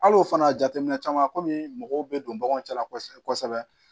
Al'o fana jateminɛ caman kɔmi mɔgɔw bɛ don baganw cɛ la kɔsɛbɛ kɔsɛbɛ